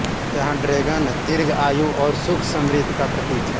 यहाँ ड्रेगन दीर्घ आयु और सुख समृद्धि का प्रतीक है